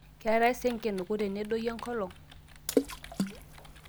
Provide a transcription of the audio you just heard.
ketae saa enkinuku tenedoyio enkolong